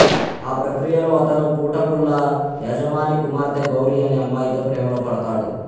ఆ ప్రక్రియలో అతను పూటకూళ్ళ యజమాని కుమార్తె గౌరీ అనే అమ్మాయితో ప్రేమలో పడతాడు